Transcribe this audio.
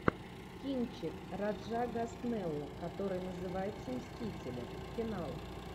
кинчик раджа госнеллы который называется мстители финал